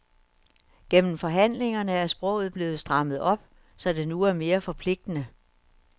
Gennem forhandlingerne er sproget blevet strammet op, så det nu er mere forpligtende.